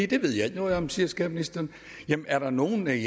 det ved jeg ikke noget om siger skatteministeren jamen er der nogle af